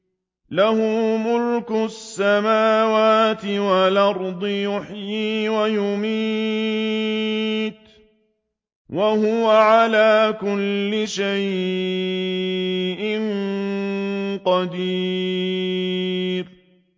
لَهُ مُلْكُ السَّمَاوَاتِ وَالْأَرْضِ ۖ يُحْيِي وَيُمِيتُ ۖ وَهُوَ عَلَىٰ كُلِّ شَيْءٍ قَدِيرٌ